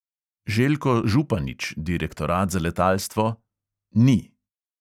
Željko županič, direktorat za letalstvo: "ni."